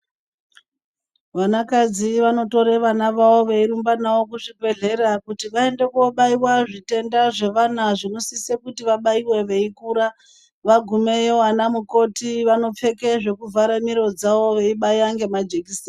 Vanakadzi vanotore vana vavo veirumba navo kuzvibhedhlera kuti vaende kobaiwa zvitenda zvavanazvo zvinosise kuti vabaiwe veikura vagumeyo vana mukoti vanovhare miro dzawO veibaya ngemajekiseni.